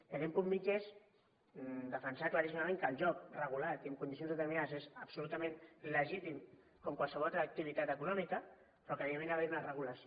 i aquest punt mitjà és defensar claríssimament que el joc regulat i amb condicions determinades és absolutament legítim com qualsevol altra activitat econòmica però que evidentment hi ha d’haver una regulació